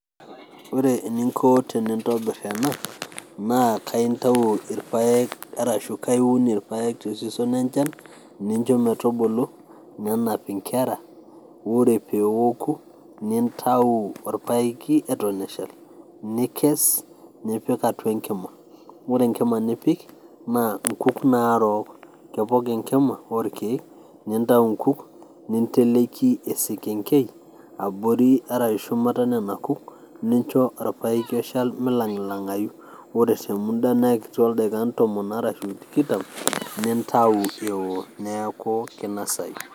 Ore eninko tenintobirr enaa naa kaintawu irpaek arashu kaiun ilpaek te season enchan nincho metubulu nenap inkerra ore peoku nitau orpaeki eton eshal, nikess nipik atua enkima, ore nkima nipik naa nkuk narook ,kepok inkima olkeek, nintua inkuk ninteleki esekenkei abori arashu metonya nena kuuk nincho orpaeki oshal meilang'ulangayu, ore sii te muda naa ekiti ooldakikani tomon arashu tikitam nitau eoo neaku keinosayu.